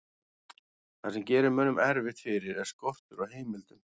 það sem gerir mönnum erfitt fyrir er skortur á heimildum